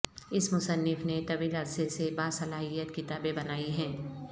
اس مصنف نے طویل عرصے سے باصلاحیت کتابیں بنائی ہیں